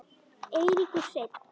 Eiríkur Hreinn.